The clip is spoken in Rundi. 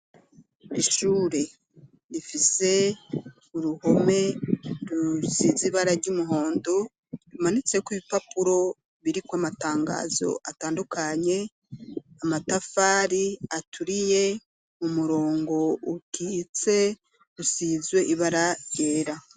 Ishure rifize uruhome rusizi ibara ry'umuhondo imanitse ko ibipapuro biri ku amatangazo atandukanye amatafari aturiye u murongo ukitse usizwe ibara ryera.